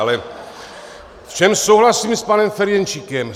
Ale v čem souhlasím s panem Ferjenčíkem?